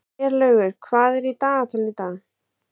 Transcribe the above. Herlaugur, hvað er í dagatalinu í dag?